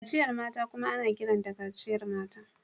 Kaciyar mata kuma ana kiranta kaciyar mata.